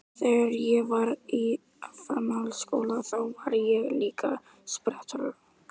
Ég var að reyna að komast framhjá markverðinum, ég missti jafnvægið.